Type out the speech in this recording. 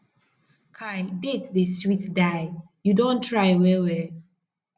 kai dates dey sweet die you don try well well